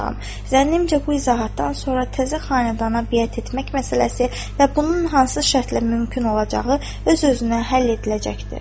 Zənnimcə bu izahatdan sonra təzə xanədana biyət etmək məsələsi və bunun hansı şərtlə mümkün olacağı öz-özünə həll ediləcəkdir.